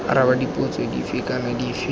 araba dipotso dife kana dife